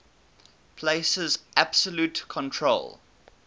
places absolute control